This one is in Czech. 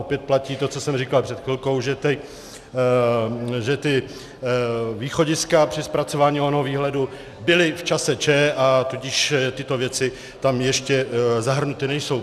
Opět platí to, co jsem říkal před chvilkou, že ta východiska při zpracování onoho výhledu byla v čase Č, a tudíž tyto věci tam ještě zahrnuty nejsou.